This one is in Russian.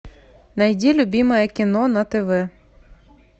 найди любимое кино на тв